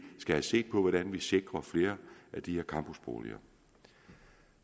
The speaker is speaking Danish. skal se på hvordan vi kan sikre flere af de her campusboliger